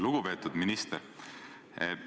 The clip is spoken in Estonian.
Lugupeetud minister!